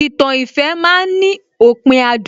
Ìtàn ìfẹ́ ma ń ní òpin adùn